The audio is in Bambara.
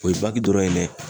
O ye bagi dɔrɔn ye dɛ